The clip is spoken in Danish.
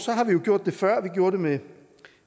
har vi jo gjort det før vi gjorde det med